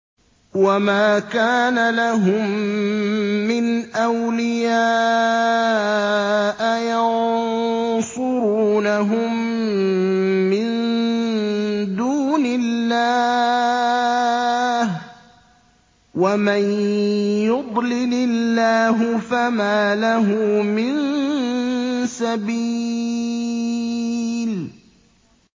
وَمَا كَانَ لَهُم مِّنْ أَوْلِيَاءَ يَنصُرُونَهُم مِّن دُونِ اللَّهِ ۗ وَمَن يُضْلِلِ اللَّهُ فَمَا لَهُ مِن سَبِيلٍ